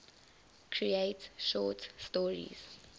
create short stories